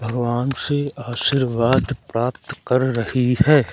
भगवान से आशीर्वाद प्राप्त कर रही है।